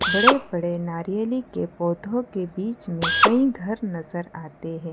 बड़े बड़े नारियली के पौधों के बीच में कई घर नजर आते हैं।